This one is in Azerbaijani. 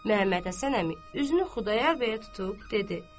Məmmədhəsən əmi üzünü Xudayar bəyə tutub dedi: